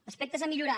aspectes a millorar